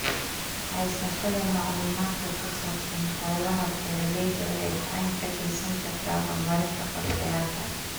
Haysashada macluumaadka ku saabsan hawlaha beeralayda waxay gacan ka geysan kartaa horumarinta qorshayaasha.